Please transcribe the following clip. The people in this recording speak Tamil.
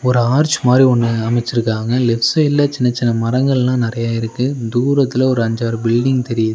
ஒரு ஆர்ச் மாறி ஒன்னு அமைச்சிருக்காங்க. லெஃப்ட் சைட்ல சின்ன சின்ன மரங்கள நறைய இருக்கு. தூரத்துல ஒரு அஞ்சாறு பில்டிங் தெரியுது.